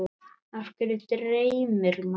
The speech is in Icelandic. Af hverju dreymir mann?